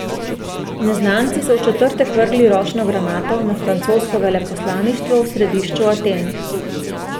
Neznanci so v četrtek vrgli ročno granato na francosko veleposlaništvo v središču Aten.